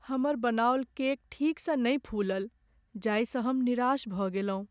हमर बनाओल केक ठीकसँ नहि फूलल जाहिसँ हम निराश भऽ गेलहुँ।